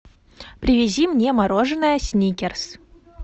привези мне мороженое сникерс